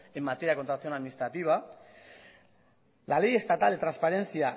en materia de contratación administrativa la ley estatal de transparencia